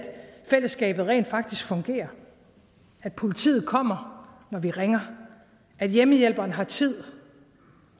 fællesskabet rent faktisk fungerer at politiet kommer når vi ringer at hjemmehjælperen har tid